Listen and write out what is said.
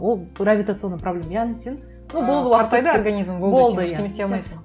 ол гравитационная проблема яғни сен ну болды қартайды организм сен ештене істей алмайсың